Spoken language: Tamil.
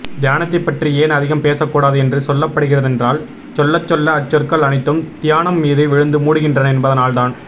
தியானத்தைப்பற்றி ஏன் அதிகம் பேசக்கூடாது என்று சொல்லப்படுகிறதென்றால் சொல்லச் சொல்ல அச்சொற்கள் அனைத்தும் தியானம் மீது விழுந்து மூடுகின்றன என்பதனால்தான்